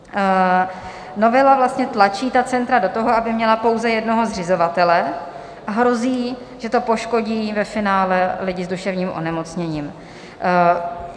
Novela vlastně tlačí ta centra do toho, aby měla pouze jednoho zřizovatele, a hrozí, že to poškodí ve finále lidi s duševním onemocněním.